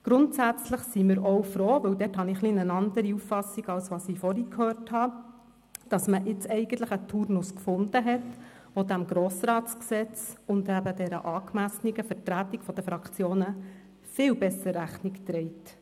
Grundsätzlich sind wir auch froh, denn da habe ich eine andere Auffassung als das, was ich vorhin gehört habe, wonach man jetzt eigentlich einen Turnus gefunden habe, der dem GRG und der angemessenen Vertretung der Fraktionen viel besser Rechnung trage.